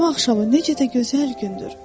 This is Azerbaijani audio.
Bu cümə axşamı necə də gözəl gündür.